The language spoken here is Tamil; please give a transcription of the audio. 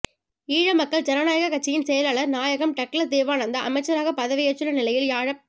ஈழமக்கள் ஜனநாயகக் கட்சியின் செயலாளர் நாயகம் டக்ளஸ் தேவானந்தா அமைச்சராகப் பதவியேற்றுள்ள நிலையில் யாழப்